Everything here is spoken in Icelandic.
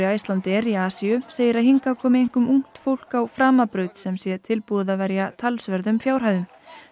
Icelandair í Asíu segir að hingað komi einkum ungt fólk á framabraut sem sé tilbúið að verja talsverðum fjárhæðum